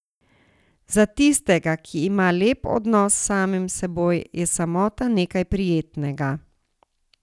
Za tistega, ki ima lep odnos s samim seboj, je samota nekaj prijetnega.